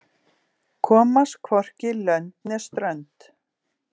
Komast hvorki lönd né strönd